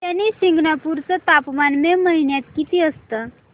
शनी शिंगणापूर चं तापमान मे महिन्यात किती असतं